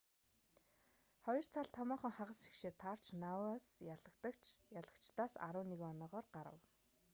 хоёр тал томоохон хагас шигшээд таарч ноаус ялагчдаас 11 оноогоор гарав